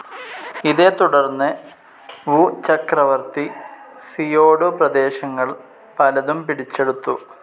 ഇതെത്തുടർന്ന് Wu ചക്രവർത്തി Xiongnu പ്രദേശങ്ങൾ പലതും പിടിച്ചെടുത്തു.